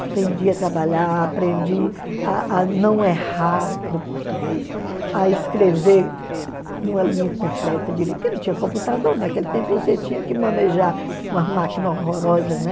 Aprendi a trabalhar, aprendi a a não errar no português, a escrever numa linha completa, porque não tinha computador, naquele tempo você tinha que manejar uma máquina horrorosa, né?